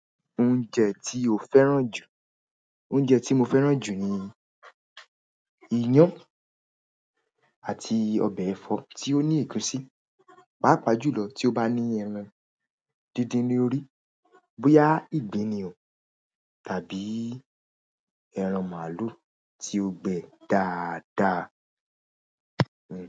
Oúnjẹ ti o fẹ́ràn ju, oúnjẹ ti mo fẹ́ràn ju ni iyan àti ọbẹ̀ ẹ̀fọ́ tí ó ní egùsí, pàápàá jùlọ tí ó bá ní ẹran díndín lórí, bóyá ìgbín ni o tàbí ẹran màlúù tí ó gbẹ dáadáa.